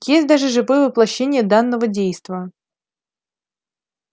есть даже живое воплощение данного действа